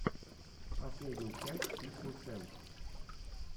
последняя часть фифтин сент